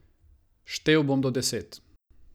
Štel bom do deset.